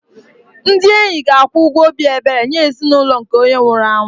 Ndị enyi ga-akwụ ụgwọ obi ebere nye ezinụlọ nke onye nwụrụ anwụ